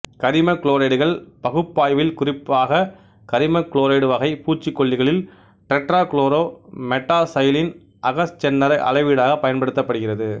கரிம குளோரைடுகள் பகுப்பாய்வில் குறிப்பாக கரிமக்குளோரைடு வகை பூச்சிக்கொல்லிகளில் டெட்ராகுளோரோ மெட்டாசைலீன் அகச் செந்தர அளவீடாகப் பயன்படுத்தப்படுகிறது